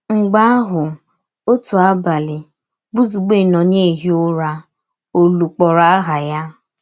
Mgbe ahụ, òtù àbàlị Bùzugbè nọ n’ìhì Ụ̀rà, òlù kpọ̀rọ̀ àhà ya.